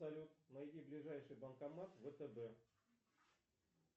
салют найди ближайший банкомат втб